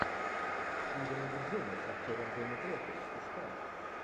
чудо на гудзоне с актером дэнни трехо искать